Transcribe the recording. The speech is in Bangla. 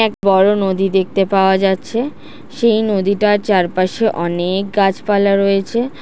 এক বড়ো নদী দেখতে পাওয়া যাচ্ছে সেই নদীটার চার পাশে অনেক গাছপালা রয়েছে ।